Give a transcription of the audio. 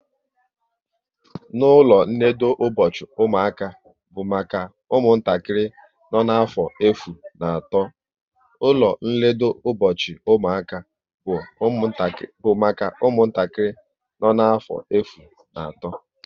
Ụlọ nledo ụbọchị ụmụaka bụ maka ụmụntakịrị nọ n'afọ efu na atọ